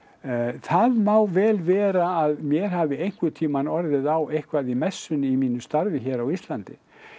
það má vel vera að mér hafi einhvern tímann orðið eitthvað á í messunni í mínu starfi hér á Íslandi